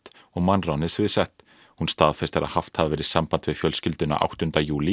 og mannránið sviðsett hún staðfestir að haft hafi verið samband við fjölskylduna áttunda júlí